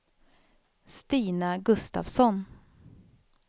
Stina Gustafsson